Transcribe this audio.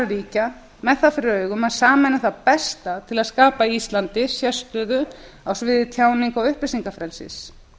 fyrir augum að sameina það besta til að skapa íslandi sérstöðu á sviði tjáningar og upplýsingafrelsis